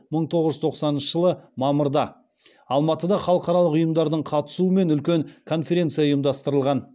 мың тоғыз жүз тоқсаныншы жылы мамырда алматыда халықаралық ұйымдардың қатысуымен үлкен конференция ұйымдастырылған